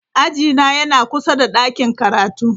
Ajina yana kusa da ɗakin karatu.